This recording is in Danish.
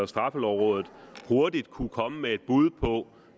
straffelovrådet hurtigt kunne komme med bud på